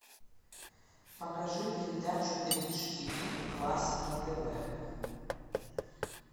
покажи передачу бридж тв классик на тв